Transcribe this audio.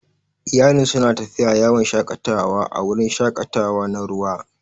Iyalin suna tafiya yawon shakatawa a wurin shakatawa na ruwa.